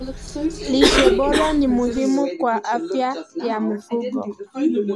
Lishe bora ni muhimu kwa afya ya mifugo.